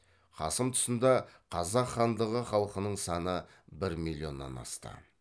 қасым тұсында қазақ хандығы халқының саны бір миллионнан асты